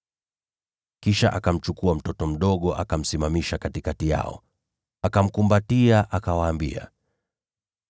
Kisha akamchukua mtoto mdogo, akamsimamisha katikati yao. Akamkumbatia, akawaambia,